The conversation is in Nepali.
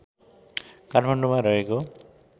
काठमाडौँमा रहेको